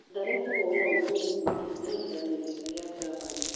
Mathare kũhũra Ulinzi Kĩhĩtahĩtanoinĩ gĩa Ngavana